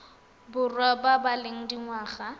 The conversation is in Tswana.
borwa ba ba leng dingwaga